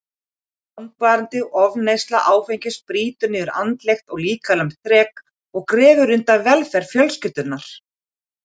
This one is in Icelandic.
Langvarandi ofneysla áfengis brýtur niður andlegt og líkamlegt þrek og grefur undan velferð fjölskyldunnar.